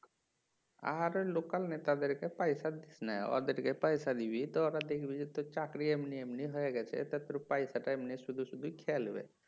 আরে local নেতাদেরকে পয়সা দিস নাই ওদেরকে পয়সা দিবি তো ওরা দেখবি যে তোর চাকরি এমনি এমনি হয়ে গেছে তাহলে তোর পয়সাটা এমনি শুধু শুধু খেয়ে লিবে